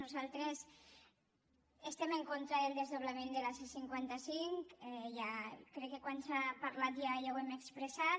nosaltres estem en contra del desdoblament de la c·cinquanta cinc crec que quan se n’ha parlat ja ho hem ex·pressat